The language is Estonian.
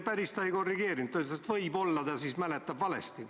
Päris ta ei korrigeerinud, ta ütles, et võib-olla ta siis mäletab valesti.